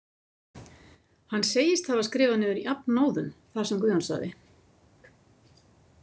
Hann segist hafa skrifað niður jafnóðum það sem Guðjón sagði.